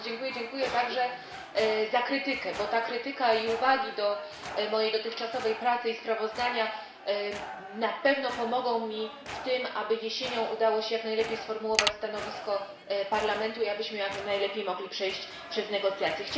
Dziękuję także za krytykę, bo ta krytyka i uwagi do mojej dotychczasowej pracy i sprawozdania na pewno pomogą mi w tym, aby jesienią udało się jak najlepiej sformułować stanowisko Parlamentu i abyśmy jak najlepiej mogli przejść przez negocjacje.